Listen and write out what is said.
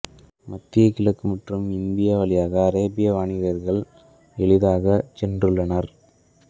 மத்திய கிழக்கு மற்றும் இந்தியா வழியாக அரேபிய வாணிகர்கள் எளிதாகச் சென்றுள்ளனர்